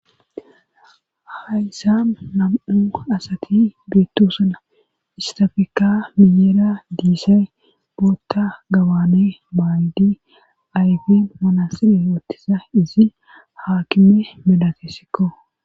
hayssan nam7u asati geettosuna istafekka miyeera diisay bootta gabaane baaydi ayfen manasile woottisa izi haakime medatessikko